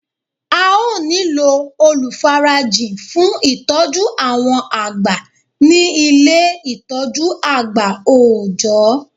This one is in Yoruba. A ó nílò olùfarajìn fun ìtọ́jú àwọn àgbà ní Ilé ní Ilé ìtọ́jú àgbà òòjọ́